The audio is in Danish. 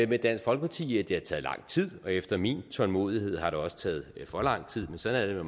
med dansk folkeparti i at det har taget lang tid og efter min tålmodighed har det også taget for lang tid men sådan er